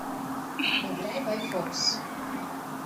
играй байфокс